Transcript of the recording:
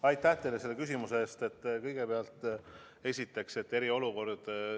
Aitäh teile selle küsimuse eest!